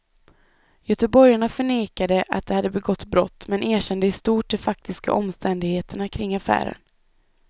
Göteborgarna förnekade att de begått brott men erkände i stort de faktiska omständigheterna kring affären.